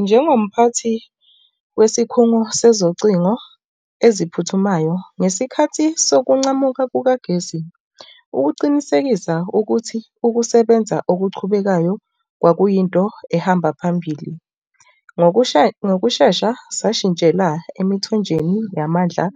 Njengomphathi wesikhungo sezocingo eziphuthumayo ngesikhathi sokuncamuka kukagesi ukuqinisekisa ukuthi ukusebenza okuqhubekayo kwakuyinto ehamba phambili. Ngokushesha sashintshela emithonjeni yamandla